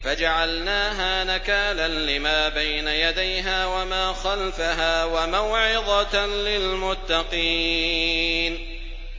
فَجَعَلْنَاهَا نَكَالًا لِّمَا بَيْنَ يَدَيْهَا وَمَا خَلْفَهَا وَمَوْعِظَةً لِّلْمُتَّقِينَ